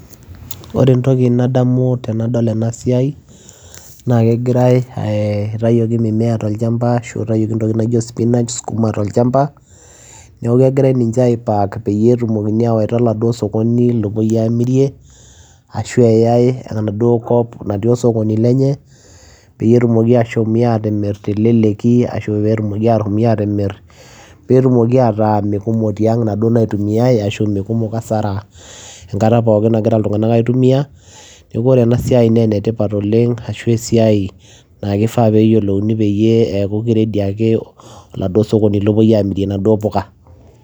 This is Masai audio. Ore entoki nadamu tenadol ena Siaii, naa kegirae eeh etayioki mimea tolshamba Ashu itayioki intokitin naiko spinach ,skuma, tolshamba, neeku kegirae ninche aipack peyie etumokini awaita laduoo asokoni lopoii aamirie ashu eyae enetii enaduoo kop natiii osokoni lenye, peyie etumoki ashumi atimirr teleleki ashu peetumoki atimirr peetumoki ataa me kumok tiang too naduoo naitumiyae ashu mee kumok asara kata pookin nagira iltungana aitumia neeku kore ena siai naa enetipat oleng ashu esiai naa kifaa peeyiolouni peyiee eeku kiready oladuoo sokoni lopoi aamirie naduoo mpuka.